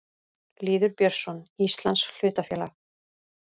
Lýður Björnsson: Íslands hlutafélag.